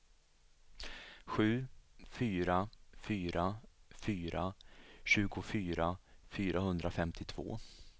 sju fyra fyra fyra tjugofyra fyrahundrafemtiotvå